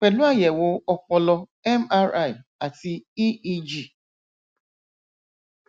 pẹlú àyẹwò ọpọlọ mri àti eeg